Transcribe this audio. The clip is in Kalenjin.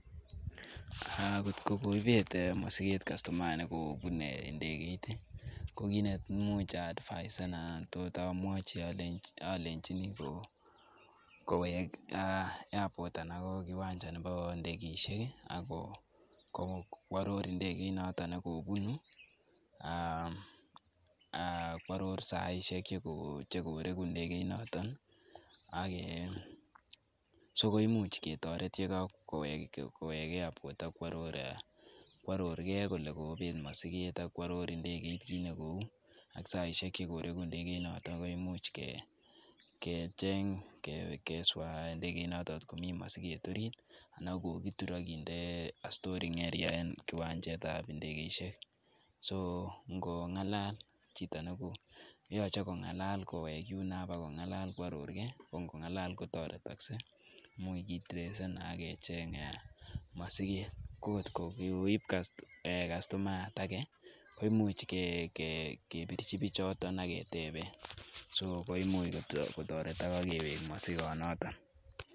Kotko koibet kustomaa mosiket nekobune ndegeit, kokit neimuch aadvisen anan ko tot amwochi alenjini kowek airport anan ko kiwanja nebo ndegeisiek ak kworor ndegeit notok nekobunu ak kworor saisiek nekoregu ndegeit noton sikoimuch ketoret yekakowek airport ak kworor gei kole koibet mosiket ak kworor ndegeit kiit nekou ak saisiek chekoreku ndegeit noton koimuch keswaa ndegeit noton kotkomi mosiget orit anan kokitur akinde storing area en kiwanjet ab ndegeisiek. So oche kong'alal kowek yuno akobokworor gei ako ngong'alal koteretoksei ,imuch kitresen akecheng' mosiget ko kotko kikoib kustomaiyat age koimuch kebirchi bichoton ageteben, so koimuch kotoretok ak kewek mosikot noton.